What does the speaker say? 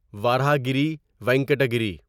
وراہاگری وینکٹا گیری